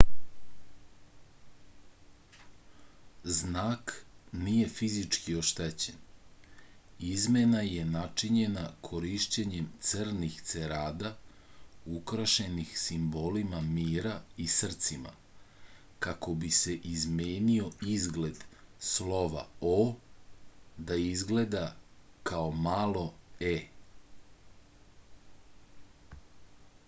znak nije fizički oštećen izmena je načinjena korišćenjem crnih cerada ukrašenih simbolima mira i srcima kako bi se izmenio izgled slova o da izgleda kao malo e